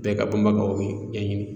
Bɛɛ ka banbagaw ye bɛɛ ɲɛɲɛn.